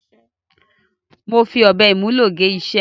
Mo fi ọ̀bẹ ìmúlò gé iṣẹ́.